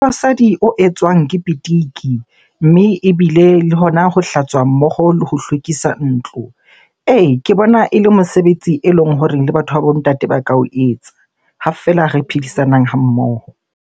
O etswang ke pitiki mme ebile le hona ho hlatswa mmoho le ho hlwekisa ntlo. Ee, ke bona e le mosebetsi eleng hore le batho ba bo ntate ba ka o etsa ha feela re phedisanang ha mmoho.